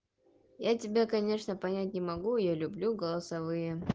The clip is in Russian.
я тебя конечно понять не могу я люблю голосовые